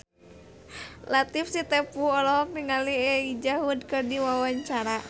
Latief Sitepu olohok ningali Elijah Wood keur diwawancara